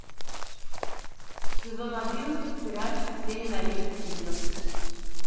сезон одиннадцать сериальчик все ненавидят криса